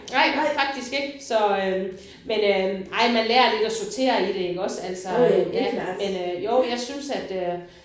Nej faktisk ikke. Så men øh ej men man lærer lidt at sortere i det iggås altså ja øh men jo jeg synes at øh